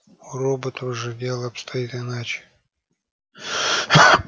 у роботов же дело обстоит иначе